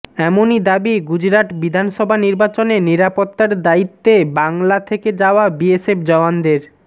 এমনই দাবি গুজরাট বিধানসভা নির্বাচনে নিরাপত্তার দায়িত্বে বাংলা থেকে যাওয়া বিএসএফ জওয়ানদের